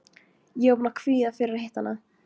Ég var búin að kvíða fyrir að hitta hana.